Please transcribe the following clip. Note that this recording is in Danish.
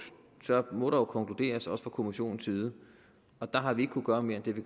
må der jo konkluderes også fra kommissionen side og der har vi ikke kunne gøre mere end det vi